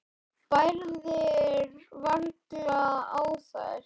Bærðir varla á þér.